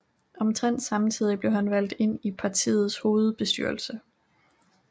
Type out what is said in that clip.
Omtrent samtidig blev han valgt ind i partiets hovedbestyrelse